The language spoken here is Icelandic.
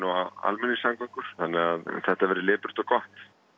og almenningssamgöngur þannig þetta verði lipurt og gott